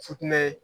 Futinɛ